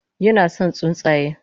Yinason tsuntsaye